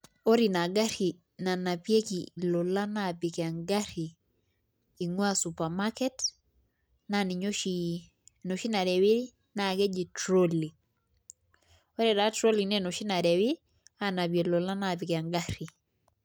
Engarri nanapieki ilolan aapik engarri naa ninye oshi, enoshi narrewi naa ninye eji trolley ore taa trolley naa enoshi narrewi aanapie ilolan aapik engarri.